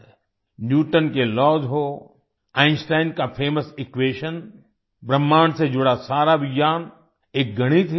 Newton के laws हों Einstein का फेमस इक्वेशन ब्रह्मांड से जुड़ा सारा विज्ञान एक गणित ही तो है